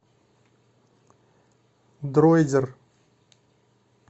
дроидер